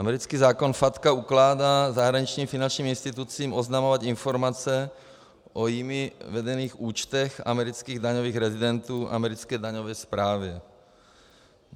Americký zákon FATCA ukládá zahraničním finančním institucím oznamovat informace o jimi vedených účtech amerických daňových rezidentů americké daňové správě.